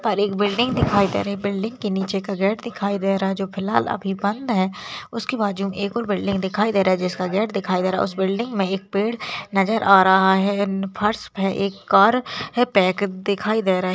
पर एक बिल्डिंग दिखाई दे रही है बिल्डिंग के नीचे का गेट दिखाई दे रहा है जो फ़िलहाल अभी बंद है उसके बाजू में एक और बिल्डिंग दिखाई दे रही है जिसका गेट दिखाई दे रहा है उस बिल्डिंग में एक पेड़ नज़र आ रहा है फर्स पे एक कार है पैक दिखाई दे रही --